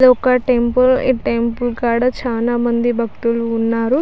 ఇది ఒక టెంపుల్ ఇ టెంపుల్ కాడా చానా మంది భక్తులున్నారు.